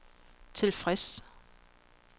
tilfreds